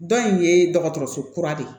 Dɔ in ye dɔgɔtɔrɔso kura de ye